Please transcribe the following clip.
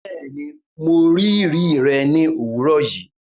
Bẹẹni, Mo rii ri rẹ ni owurọ yii